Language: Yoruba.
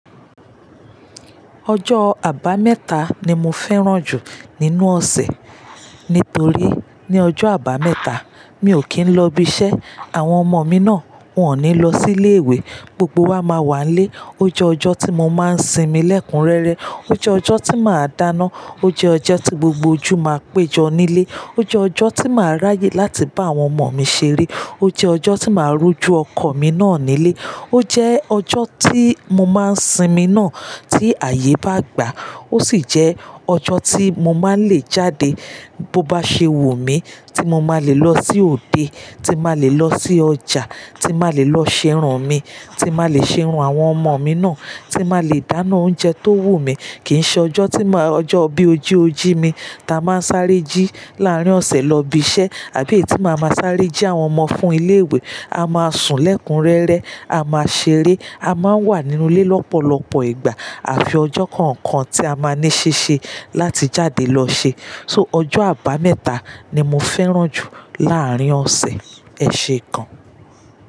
Ọjọ́ àbámẹ́ta ni mo fẹ́ràn jù nínú ọ̀sẹ̀, nítorí ní ọjọ́ àbámẹ́ta, mi ò kí ń lọ ibi iṣẹ́, àwọn ọmọ mi náà wọ́n ò ní lọ sí ilé ìwé, gbogbo wa máa wà lé. Ó jẹ́ ọjọ́ tí mo máa ń sinmi lẹ́kunrẹ́rẹ́, ó jẹ́ ọjọ́ tí màá dáná, ó jẹ́ ọjọ́ tí gbogbo ojú máa péjọ nílé, ó jẹ́ ọjọ́ tí màá ráyè láti bá àwọn ọmọ mi ṣeré, ó jẹ́ ọjọ́ tí màá rú ju ọkọ̀ mi náà nílé, ó jẹ́ ọjọ́ tí mo máa ń sinmi náà tí ààyè bá gbà á. Ó sì jẹ́ ọjọ́ tí mo máa ń lè jáde bó bá ṣe wù mí, tí mo máa lè lọ sí òde, tí mà lè lọ sí ọjà, tí mà lè lọ ṣerun mi, tí mà lè ṣe irun àwọn ọmọ mi náà, tí mà lè dáná oúnjẹ tó wù mí. Kì í ṣe ọjọ́ tí mó, ọjọ́ bí ojíojí mi ta máa ń sáré jí láàrín ọ̀sẹ̀ lọ ibi iṣẹ́ àbí ètí mà máa ń sáré jí àwọn ọmọ fún ilé ìwé. A máa sùn lẹ́kunrẹ́rẹ́, a máa ṣeré, a máa ń wà nínú ilé lọ́pọ̀lọpọ̀ ìgbà àfi ọjọ́ kọ̀ọ̀kan tí a máa ní ṣíṣe láti jáde lọ ṣe. So ọjọ́ àbámẹ́ta ni mo fẹ́ràn jù láàrín ọ̀sẹ̀. Ẹ ṣe é kan.